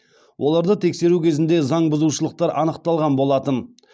оларды тексеру кезінде заң бұзушылықтар анықталған болатын